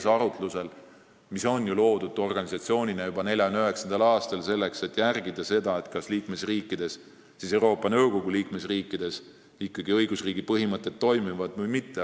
See organisatsioon loodi ju juba 1949. aastal, selleks et jälgida seda, kas Euroopa Nõukogu liikmesriikides õigusriigi põhimõtted ikkagi toimivad või mitte.